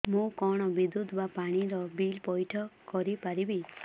ମୁ କଣ ବିଦ୍ୟୁତ ବା ପାଣି ର ବିଲ ପଇଠ କରି ପାରିବି